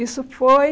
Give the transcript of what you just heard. Isso foi